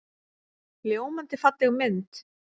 Ljómandi falleg mynd.